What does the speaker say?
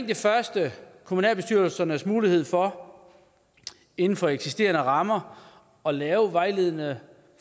det første kommunalbestyrelsernes mulighed for inden for eksisterende rammer at lave vejledende